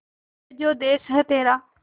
ये जो देस है तेरा